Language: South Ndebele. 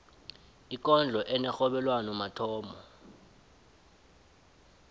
ikondlo enerhobelwano mathomo